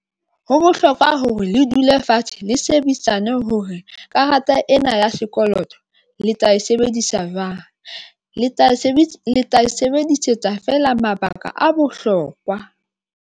Ho bohlokwa hore le dule fatshe, le shebedisane hore karata ena ya sekoloto le tla e sebedisa jwang, le tla sebetsa, le tla e sebedisetsa feela. Mabaka a bohlokwa.